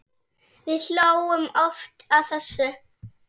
Við hlógum oft að þessu.